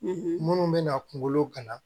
minnu bɛna kunkolo gana